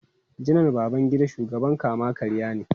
Janar Babangida shugaban kama-karya ne.